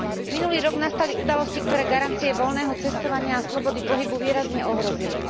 Minulý rok nastali udalosti, ktoré garancie voľného cestovania a slobody pohybu výrazne ohrozili.